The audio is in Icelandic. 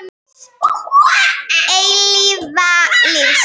Hins eilífa lífs.